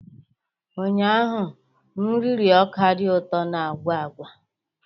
Ụnyaahụ m riri ọka dị ụtọ na agwa agwa